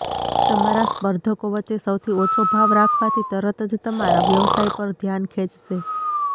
તમારા સ્પર્ધકો વચ્ચે સૌથી ઓછો ભાવ રાખવાથી તરત જ તમારા વ્યવસાય પર ધ્યાન ખેંચશે